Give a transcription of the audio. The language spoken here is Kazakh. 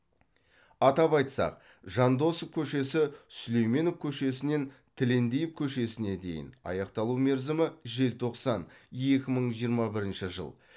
атап айтсақ жандосов көшесі сүлейменов көшесінен тілендиев көшесіне дейін аяқталу мерзімі желтоқсан екі мың жиырма бірінші жыл